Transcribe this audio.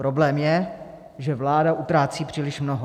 Problém je, že vláda utrácí příliš mnoho.